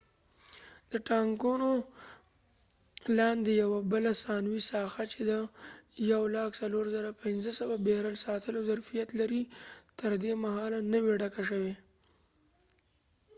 د ټانګونو لاندې یوه بله ثانوي ساحه چې د 104,500 بیرل ساتلو ظرفیت لري تر دې مهاله نه وه ډکه شوي